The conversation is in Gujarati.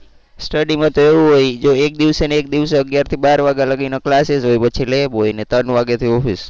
study માં તો એવું હોય જો એક દિવસે ને એક દિવસે અગીયાર થી બાર વાગ્યા લગી ના classes હોય પછી lab હોય ને પછી ત્રણ વાગ્યા થી office